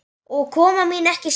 Og kona mín ekki síður.